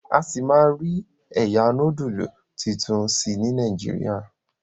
a sí má rí ẹyà nodulu títún sí ní Nàìjíríà.